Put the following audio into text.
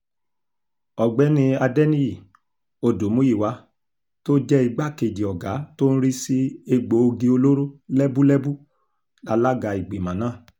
ọ̀gbẹ́ni adẹniyí olùmuyíwà tó jẹ́ igbákejì ọ̀gá tó ń rí sí egbòogi olóró lẹ́búlẹ́bú lálaga ìgbìmọ̀ náà